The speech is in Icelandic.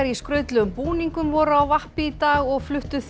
í skrautlegum búningum voru á vappi í dag og fluttu